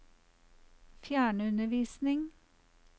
fjernundervisning